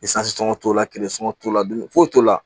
t'o la tile sɔngɔn t'o la dumuni foyi t'o la